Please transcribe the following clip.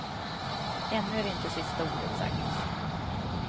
Ännu är inte sista ordet sagt.